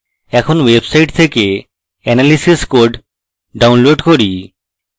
এখন website থেকে analysis code download করি